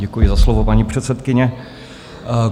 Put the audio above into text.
Děkuji za slovo, paní předsedkyně.